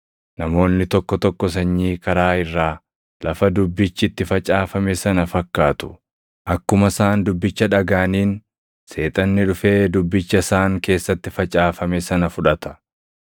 Namoonni tokko tokko sanyii karaa irraa, lafa dubbichi itti facaafame sana fakkaatu. Akkuma isaan dubbicha dhagaʼaniin Seexanni dhufee dubbicha isaan keessatti facaafame sana fudhata.